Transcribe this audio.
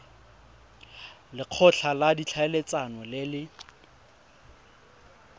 lekgotla la ditlhaeletsano le le